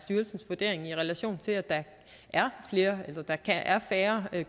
styrelsens vurdering i relation til at der er der er færre